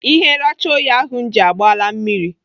Ihe nracha oyi ahụ m ji agbala mmiri.